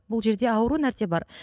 бұл жерде ауру нәрсе бар